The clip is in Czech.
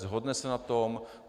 Shodne se na tom?